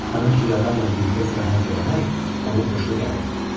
Tanış bir adamla birlikdə səyahət eləmək onun xoşuna gəlirdi.